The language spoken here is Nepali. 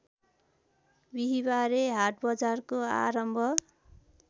बिहिवारे हाटबजारको आरम्भ